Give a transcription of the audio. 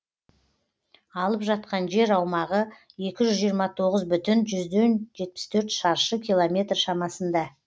алып жатқан жер аумағы екі жүз жиырма тоғыз бүтін жүзден жетпіс төрт шаршы километр шамасында